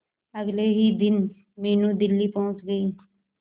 अगले ही दिन मीनू दिल्ली पहुंच गए